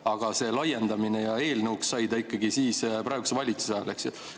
Aga see laiendamine ja eelnõuks sai see ikkagi praeguse valitsuse ajal, eks ju.